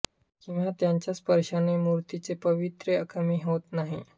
किंवा त्यांच्या स्पर्शाने मूर्तीचे पावित्र्य कमी होत नाही